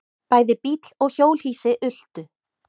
Bæði bíll og hjólhýsi ultu.